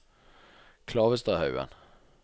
Klavestadhaugen